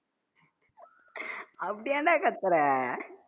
அப்டி ஏன்டா கத்துற